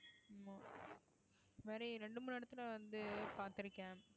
இந்த மாறி ரெண்டு மூணு இடத்துல வந்து பாத்திருக்கேன்